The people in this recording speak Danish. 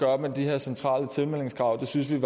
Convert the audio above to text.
op med de her centrale tilmeldingskrav det synes vi